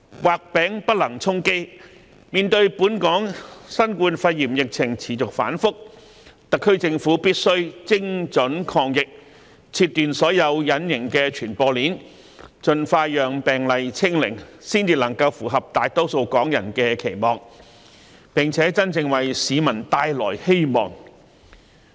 畫餅不能充飢，面對本港新冠肺炎疫情持續反覆，特區政府必須精準抗疫，切斷所有隱形傳播鏈，盡快令病毒"清零"，才能符合大多數港人的期望，並真正為市民帶來希望。